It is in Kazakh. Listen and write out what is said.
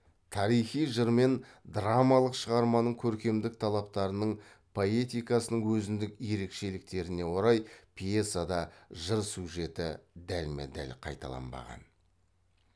тарихи жыр мен драмалық шығарманың көркемдік талаптарының поэтикасының өзіндік ерекшеліктеріне орай пьесада жыр сюжеті дәлме дәл қайталанбаған